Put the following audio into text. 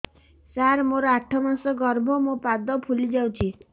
ସାର ମୋର ଆଠ ମାସ ଗର୍ଭ ମୋ ପାଦ ଫୁଲିଯାଉଛି